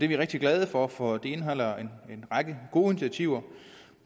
vi rigtig glade for for den indeholder en række gode initiativer